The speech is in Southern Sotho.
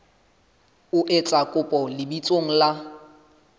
o etsa kopo lebitsong la